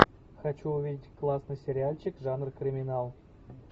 хочу увидеть классный сериальчик жанр криминал